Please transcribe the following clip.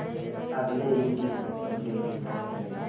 अगले ही दिन मीनू दिल्ली पहुंच गए